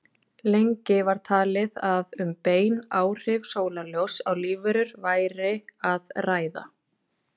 Lengi var talið að um bein áhrif sólarljóss á lífverur væri að ræða.